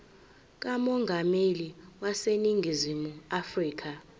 kamongameli waseningizimu afrika